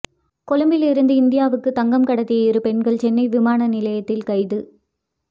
கொழும்பிலிருந்து இந்தியாவுக்கு தங்கம் கடத்திய இரு பெண்கள் சென்னை விமான நிலையத்தில் கைது